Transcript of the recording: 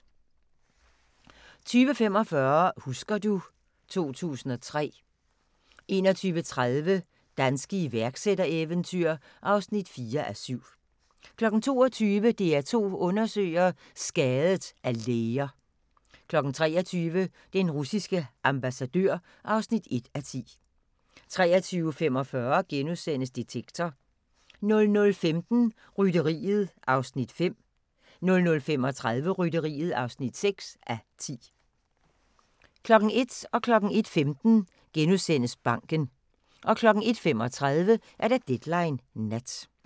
20:45: Husker du ... 2003 21:30: Danske iværksættereventyr (4:7) 22:00: DR2 Undersøger: Skadet af læger 23:00: Den russiske ambassadør (1:10) 23:45: Detektor * 00:15: Rytteriet (5:10) 00:35: Rytteriet (6:10) 01:00: Banken * 01:15: Banken * 01:35: Deadline Nat